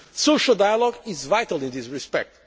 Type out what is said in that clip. Social dialogue is vital in this respect